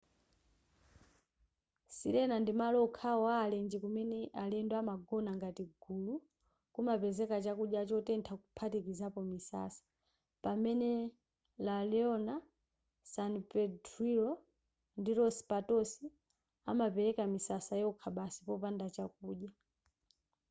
sirena ndimalo okhawo a alenje kumene alendo amagona ngati gulu kumapezeka chakudya chotentha kuphatikizapo misasa pamene la leona san pedrillo ndi los patos amapereka misasa yokha basi popanda chakudya